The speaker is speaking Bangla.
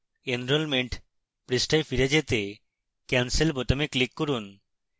enrolment পৃষ্ঠায় ফিরে যেতে cancel বোতামে click করুন